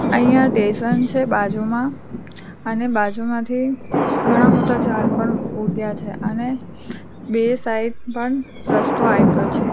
અહીંયા ટેશન છે બાજુમાં અને બાજુમાંથી ઘણા બધા ઝાડ પણ ઉગ્યા છે અને બે સાઇડ પણ રસ્તો આઇપો છે.